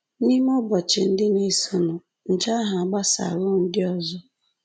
N’ime ụbọchị ndị na-esonụ, nje ahụ agbasaruo ndị ọzọ